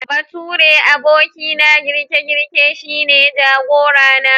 Baturen abokina girke-girke shine jagora na.